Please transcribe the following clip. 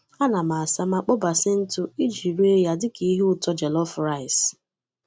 Ana m asa ma kpọọ basil ntụ iji ree ya dị ka ihe ụtọ jollof rice.